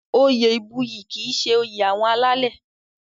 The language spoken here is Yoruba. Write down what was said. Oyè ìbuyì kì í ṣe oyè àwọn alálẹ̀.